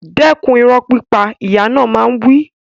Dẹ́kun ìrọ́ pípa! Ìyá náà máa ń wí.